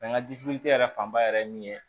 n ka yɛrɛ fanba yɛrɛ ye min ye